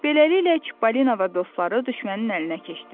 Beləliklə, Çipollino və dostları düşmənin əlinə keçdilər.